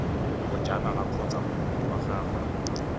bojanala kgotsa moemedi wa gagwe